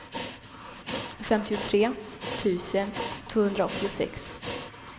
femtiotre tusen tvåhundraåttiosex